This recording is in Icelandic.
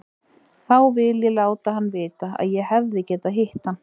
Þá vil ég láta hann vita að ég hefði getað hitt hann.